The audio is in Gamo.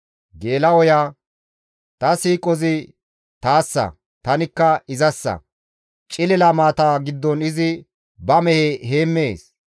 «Ta siiqozi taassa; tanikka izassa; cilila maata giddon izi ba mehe heemmees.